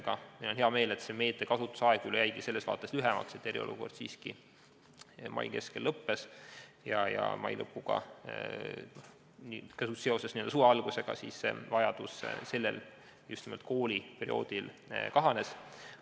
Ja mul on hea meel, et selle meetme kasutamise aeg jäi lühikeseks, sest mai keskel eriolukord lõppes ja seoses suve algusega vajadus seda kooliperioodil kasutada kahanes.